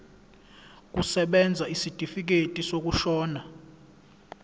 kusebenza isitifikedi sokushona